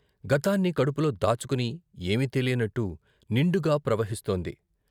గతాన్ని కడుపులో దాచుకుని ఏమీ తెలియనట్టు నిండుగా ప్రవహిస్తోంది.